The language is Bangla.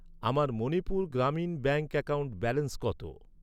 আমার Manipur Gramin bank account balance কত?